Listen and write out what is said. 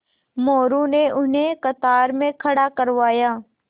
मोरू ने उन्हें कतार में खड़ा करवाया